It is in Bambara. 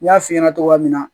N y'a f'i ɲɛna cogoya min na